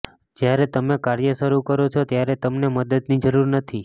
જ્યારે તમે કાર્ય શરૂ કરો છો ત્યારે તમને મદદની જરૂર નથી